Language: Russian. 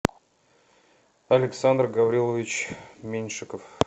александр гаврилович меньшиков